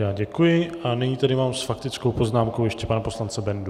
Já děkuji a nyní tady mám s faktickou poznámkou ještě pana poslance Bendu.